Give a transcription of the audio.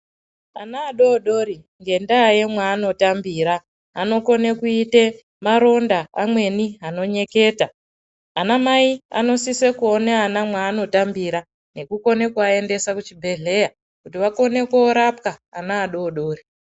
Ana adodori ngendaa yemwaanotambira anokone kuite maronda amweni anonyeketa ana mai anosise kuone ana mwaanotambira nekukone kuaendesa kuchibhedhleya kuti akone korapwa ana adodori.